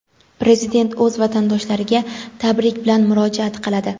Prezident o‘z vatandoshlariga tabrik bilan murojaat qiladi.